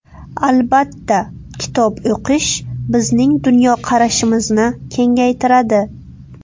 Albatta, kitob o‘qish bizning dunyoqarashimizni kengaytiradi.